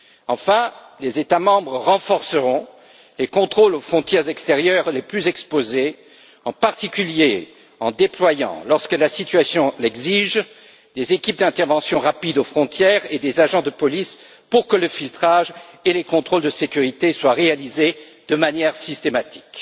Enfin, les États membres renforceront les contrôles aux frontières extérieures les plus exposées, notamment en déployant, lorsque la situation l'exige, des équipes d'intervention rapide aux frontières et des agents de police pour que le filtrage et les contrôles de sécurité soient réalisés de manière systématique.